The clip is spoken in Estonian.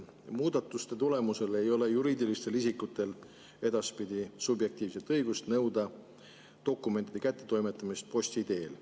Muudatuste tulemusel ei ole juriidilistel isikutel edaspidi subjektiivset õigust nõuda dokumentide kättetoimetamist posti teel.